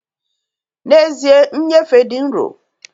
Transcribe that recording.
N'ezie, nnyefe dị nro